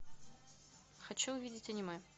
хочу увидеть аниме